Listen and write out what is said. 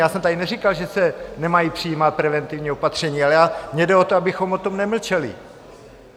Já jsem tady neříkal, že se nemají přijímat preventivní opatření, ale mně jde o to, abychom o tom nemlčeli.